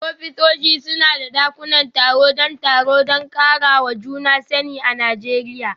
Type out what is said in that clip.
Ofisoshi suna da dakunan taro don taro da karawa juna sani a Najeriya.